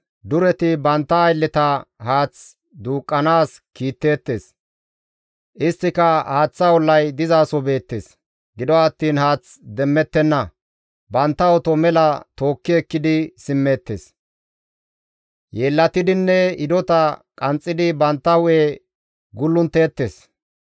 Dureti bantta aylleta haath duuqqanaas kiitteettes. Isttika haaththa ollay dizaso beettes; gido attiin haath demmettenna; bantta oto mela tookki ekkidi simmeettes. Yeellatidinne hidota qanxxidi bantta hu7e gulluntteettes.